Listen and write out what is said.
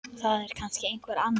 Það er kannski einhver annar.